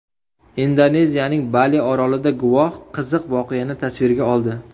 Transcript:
Indoneziyaning Bali orolida guvoh qiziq voqeani tasvirga oldi.